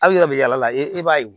Aw yɛrɛ bɛ yala yala e b'a ye